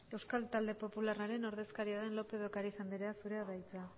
euskal talde popularraren ordezkaria den lópez de ocariz andrea zurea da hitza